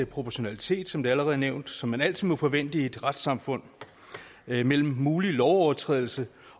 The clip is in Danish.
proportionalitet som allerede nævnt som man altid må forvente i et retssamfund mellem mulig lovovertrædelse